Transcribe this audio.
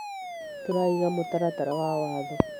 tũraiga mũtaratara wa watho.